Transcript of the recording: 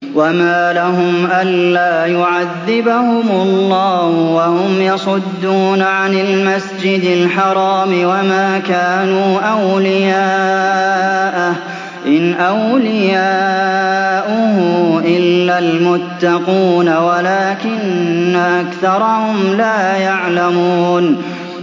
وَمَا لَهُمْ أَلَّا يُعَذِّبَهُمُ اللَّهُ وَهُمْ يَصُدُّونَ عَنِ الْمَسْجِدِ الْحَرَامِ وَمَا كَانُوا أَوْلِيَاءَهُ ۚ إِنْ أَوْلِيَاؤُهُ إِلَّا الْمُتَّقُونَ وَلَٰكِنَّ أَكْثَرَهُمْ لَا يَعْلَمُونَ